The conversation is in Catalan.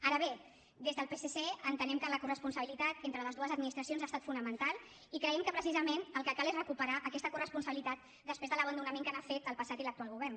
ara bé des del psc entenem que la coresponsabilitat entre les dues administracions ha estat fonamental i creiem que precisament el que cal és recuperar aquesta coresponsabilitat després de l’abandonament que n’ha fet el passat i l’actual govern